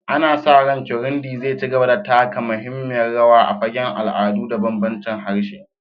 Ana sa ran Kirundi zai ci gaba da taka muhimmiyar rawa a fagen al'adu da bambancin harshe.